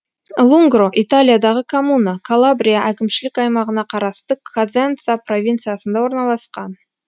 лунгро италиядағы коммуна калабрия әкімшілік аймағына қарасты козенца провинциясында орналасқан